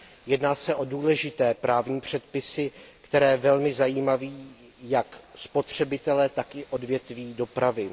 Jedná se o důležité právní předpisy, které velmi zajímají jak spotřebitele, tak i odvětví dopravy.